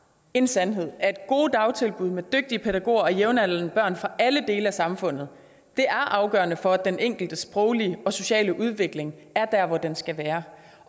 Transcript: en sandhed at gode dagtilbud med dygtige pædagoger og jævnaldrende børn fra alle dele af samfundet er afgørende for at den enkeltes sproglige og sociale udvikling er dér hvor den skal være